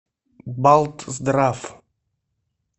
балтздрав